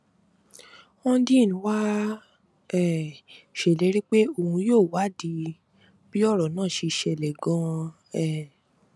hondnyin wàá um ṣèlérí pé òun yóò wádìí bí ọrọ náà ṣe ṣẹlẹ ganan um